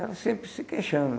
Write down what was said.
Ela sempre se queixando.